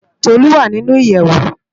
Tolu wá ninú iyèwó